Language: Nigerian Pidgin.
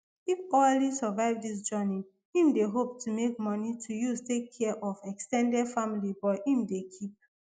if oualy survive dis journey im dey hope to make money to use take care of ex ten ded family but im dey keep